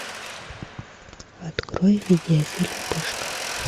открой видеофильм пышка